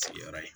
Sigiyɔrɔ ye